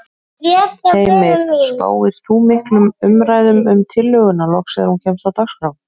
Heimir: Spáir þú miklum umræðum um tillöguna loks þegar hún kemst á dagskrá?